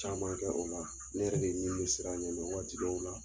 Caman kɛ o la ne yɛrɛ ni bɛ siran ɲɛ waati dɔw la